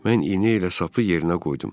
Mən iynə ilə sapı yerinə qoydum.